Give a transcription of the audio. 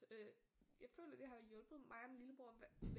Øh jeg føler det har hjulpet mig og min lillebror